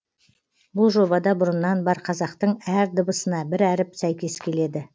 бұл жобада бұрыннан бар қазақтың әр дыбысына бір әріп сәйкес келеді